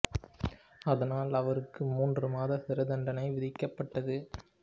அதனால் அவருக்கு மூன்று மாதம் சிறை தண்டனை விதிக்க பட்டது